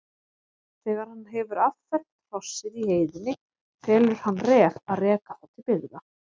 Þegar hann hefur affermt hrossið í heiðinni felur hann Ref að reka það til byggða.